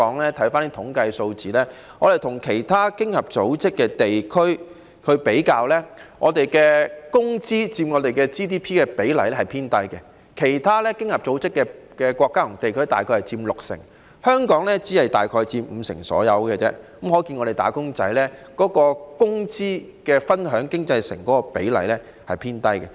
因為有關的統計數字顯示，與其他經合組織國家和地區比較，香港的工資佔 GDP 的比例偏低，其他經合組織國家和地區約佔六成，而香港只是約佔五成，可見香港"打工仔"能夠分享經濟成果的比例偏低。